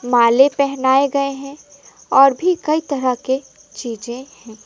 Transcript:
माले पहनाए गए हैं और भी कई चीजे हैं।